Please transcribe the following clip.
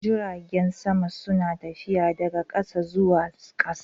Jiragen sama suna tafiya daga ƙasa zuwa ƙasa